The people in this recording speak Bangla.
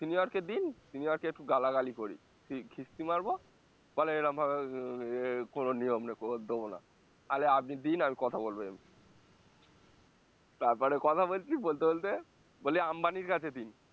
sinior কে দিন senior কে একটু গালাগালি করি খিস্তি মারবো বলে এরম ভাবে এ কোনো নিয়ম নেই দোবো না তাহলে আপনি দিন আমি কথা বলবো এমনি তারপরে কথা বলছি বলতে বলতে বলি আম্বানির কাছে দিন